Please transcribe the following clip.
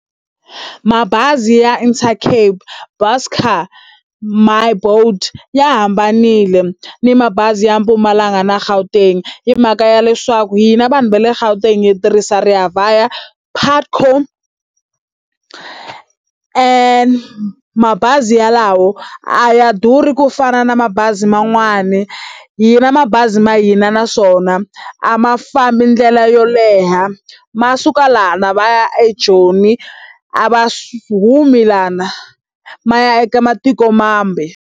Mabazi ya Intercape, Buscor, My Boet ya hambanile ni mabazi ya Mpumalanga na Gauteng. Hi mhaka ya leswaku hina vanhu va le Gauteng hi tirhisa ReaVaya, Putco, . Mabazi yalawo a ya durhi ku fana na mabazi man'wani, hina mabazi ma hina naswona a ma fambi ndlela yo leha. Ma suka laha ma ya eJoni, a va humi laha ma ya eka matiko mambe.